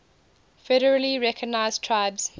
federally recognized tribes